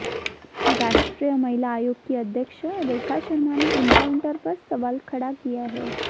राष्ट्रीय महिला आयोग की अध्यक्ष रेखा शर्मा ने एनकाउंटर पर सवाल खड़ा किया है